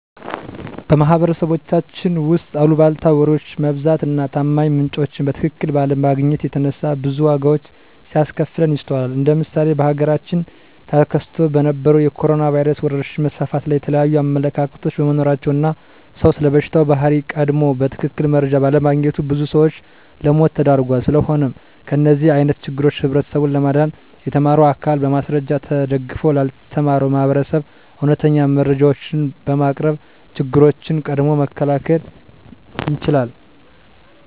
በማህበረሰባችን ውስጥ አልቧልታ ወሬዎች መብዛት እና ታማኝ ምንጮችን በትክክል ባለማግኘት የተነሳ ብዙ ዋጋዎች ሲያስከፍለን ይስተዋላል እንደ ምሳሌ በሀገራችን ተከስቶ በነበረዉ የኮሮኖ ቫይረስ ወረርሽኝ መስፋፋት ላይ የተለያዩ አመለካከቶች በመኖራቸው እና ሰዉ ስለበሽታው ባህሪ ቀድሞ በትክክል መረጃ ባለማግኘቱ ብዙ ሰዎችን ለሞት ዳርጓል። ስለሆነም ከእንደዚህ አይነት ችግሮች ህብረተሰቡን ለማዳን የተማረው አካል በማስረጃ ተደግፎ ላልተማረው ማህበረሰብ እውነተኛ መረጃዎችን በማቅረብ ችግሮችን ቀድሞ መከላከል ይቻላል።